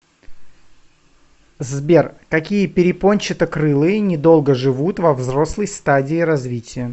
сбер какие перепончатокрылые недолго живут во взрослой стадии развития